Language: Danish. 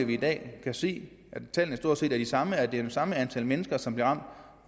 vi i dag kan se at tallene stort set er de samme at det er det samme antal mennesker som bliver